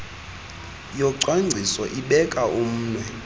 yocwangciso ibeka umnwe